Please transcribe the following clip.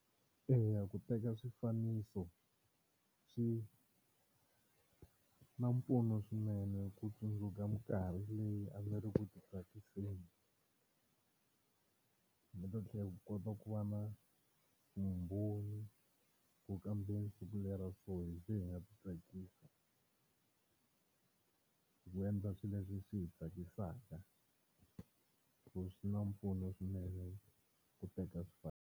Eya ku teka swifaniso swi na mpfuno swinene ku tsundzuka minkarhi leyi a ni ri ku ti tsakiseni ndzi ta tlhela ndzi kota ku va na vumbhoni ku kambe siku leri ra so hi ze hi nga titsakisa hi ku endla swilo leswi swi hi tsakisaka so swi na mpfuno swinene ku teka swifaniso.